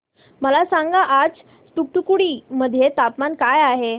मला सांगा आज तूतुकुडी मध्ये तापमान काय आहे